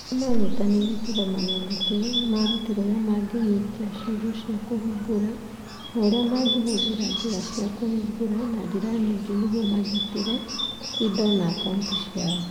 Arĩa maanyitanĩire kĩgomano-inĩ kĩu nĩ maarutirwo ũrĩa mangĩnyitia ciugo cia kũhingũra na ũrĩa mangĩhũthĩra njĩra cia kũhingũra na njĩra nyingĩ nĩguo magitĩre indo na akaunti ciao.